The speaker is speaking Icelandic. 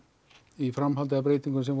í framhaldi af breytingum sem